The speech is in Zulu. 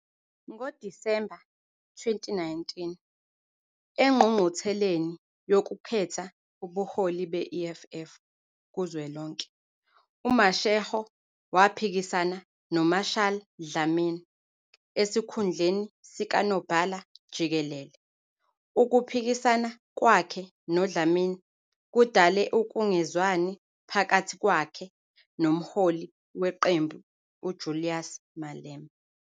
NgoDisemba 2019 engqungqutheleni yokukhetha ubuholi be-EFF kuzwelonke, uMashego waphikisana noMarshall Dlamini esikhundleni sikaNobhala-Jikelele. Ukuphikisana kwakhe noDlamini kudale ukungezwani phakathi kwakhe nomholi weqembu uJulius Malema.